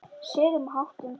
Siðum og háttum.